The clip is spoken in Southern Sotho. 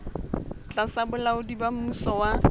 tlasa bolaodi ba mmuso wa